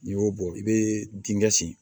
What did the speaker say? N'i y'o bɔ i bɛ dingɛ sen